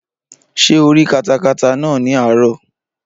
Ṣé o rí katakata náà ní àárọ̀?